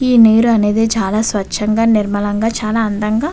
ఈ నీరు అనేది చాలా స్వచ్ఛంగా అండ్ నిర్మలంగా --